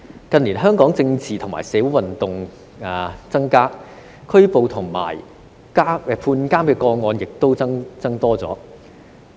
近年，香港政治及社會運動增加，拘捕及判監個案亦有所增加。